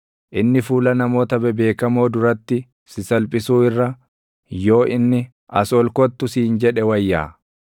inni fuula namoota bebeekamoo duratti si salphisuu irra, yoo inni, “As ol kottu” siin jedhe wayyaa. Ati waan ija keetiin argite,